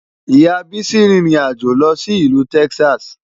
Ìyá Bísí rin ìrìn àjò lọ sí ìlú Texas.